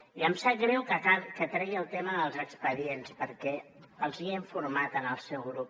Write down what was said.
i em sap greu que tregui el tema dels expedients perquè els n’he informat al seu grup